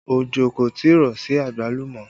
Ojo kò tí ì rọ̀ sí àgbálùmọ́